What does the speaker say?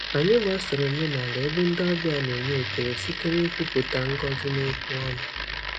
Anyị gbasoro omenala ebe ndị ọbịa na-enye ekele site n'ikwupụta ngọzi n'okwu ọnụ.